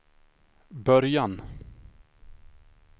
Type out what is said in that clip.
början